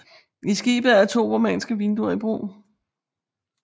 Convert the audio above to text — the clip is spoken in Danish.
I skibet er to romanske vinduer i brug